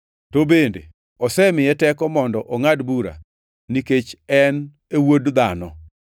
To bende osemiye teko mondo ongʼad bura, nikech en e Wuod Dhano.